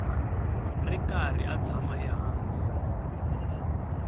ri karhi a tshama ehansi